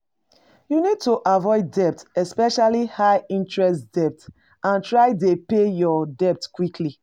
You need to avoid debt, especially high-interest debt, and try dey pay your debt quickly.